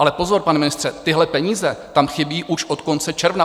Ale pozor, pane ministře, tyhle peníze tam chybí už od konce června.